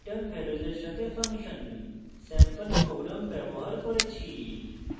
return ভ্যালুসের সাথে function sample programs ব্যবহার করেছি